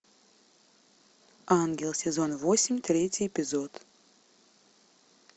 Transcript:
ангел сезон восемь третий эпизод